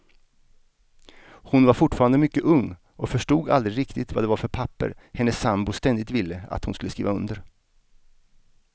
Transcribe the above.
Hon var fortfarande mycket ung och förstod aldrig riktigt vad det var för papper hennes sambo ständigt ville att hon skulle skriva under.